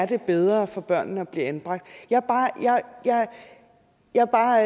det er bedre for børnene at blive anbragt jeg er bare